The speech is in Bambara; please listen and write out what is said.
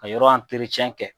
ka yɔrɔ kɛ.